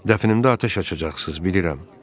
Dəfnimdə atəş açacaqsız, bilirəm.